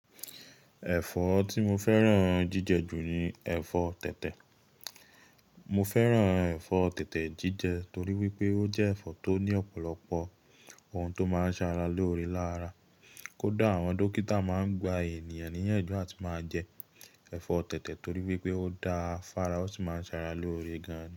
Ẹ̀fọ́ tí mo fẹ́ràn jíjẹ jù ni ẹ̀fọ́ tètè. Mo fẹ́ràn ẹ̀fọ́ tètè jíjẹ torí wípé ó jẹ́ ẹ̀fọ́ tó ní ọ̀pọ̀lọpọ̀ ohun tó máa ń ṣe ara lóore lára. Kódà, àwọn dókítà máa ń gba ènìyàn ní'yànjú àti máa jẹ ẹ̀fọ́ tètè torí wípé ó dáa f'ara, ó sì máa ń ṣ'ara lóore gan ni.